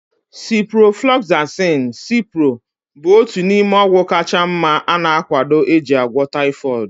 Ciproflaxin (Cipro) bụ otu n'ime ọgwụ kacha mma ana akwado eji agwọ taifọdụ